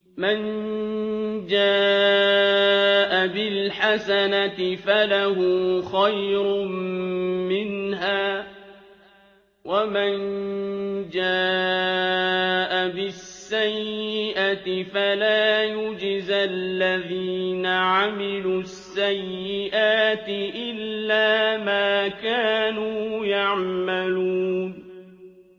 مَن جَاءَ بِالْحَسَنَةِ فَلَهُ خَيْرٌ مِّنْهَا ۖ وَمَن جَاءَ بِالسَّيِّئَةِ فَلَا يُجْزَى الَّذِينَ عَمِلُوا السَّيِّئَاتِ إِلَّا مَا كَانُوا يَعْمَلُونَ